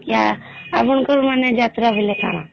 ଆପଣ ଙ୍କୁ ମାନେ ଯାତ୍ରା ବୋଇଲେ କାଣା